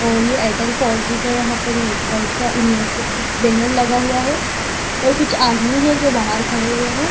और ये Airtel four G का यहां पर नेटवर्क का बैनर लगा हुआ है और कुछ आदमी है जो बाहर खड़े हुए हैं।